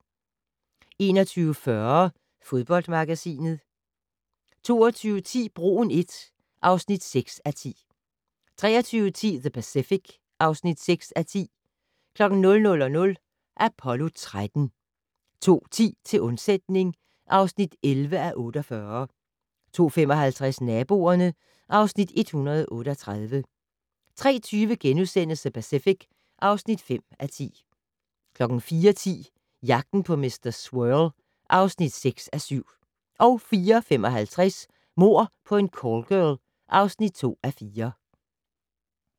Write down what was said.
21:40: Fodboldmagasinet 22:10: Broen I (6:10) 23:10: The Pacific (6:10) 00:00: Apollo 13 02:10: Til undsætning (11:48) 02:55: Naboerne (Afs. 138) 03:20: The Pacific (5:10)* 04:10: Jagten på mr. Swirl (6:7) 04:55: Mord på en callgirl (2:4)